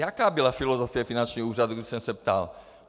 Jaká byla filozofie finančního úřadu, když jsem se ptal?